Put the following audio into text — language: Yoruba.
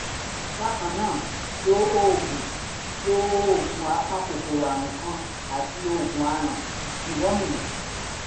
bákan náà lo oògùn lo oògùn apakòkòrò àrùn kan àti oògùn aràn deworming